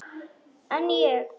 En ég?